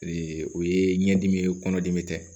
o ye ɲɛdimi ye kɔnɔdimi tɛ